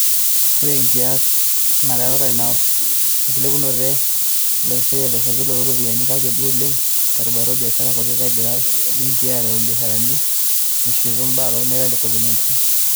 Ore enkias nereuta apa enkilepunoto e olekosiayio lenkiprta o ropiyiani, kake duo oleng terubata o biasharani kutiti egira ibenkii aretu ibiasharani mishiutu ibaa lolmeitai le Covid-19.